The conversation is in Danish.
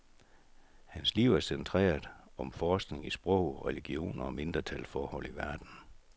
Hans liv er centreret om forskning i sprog, religioner og mindretals forhold i verden.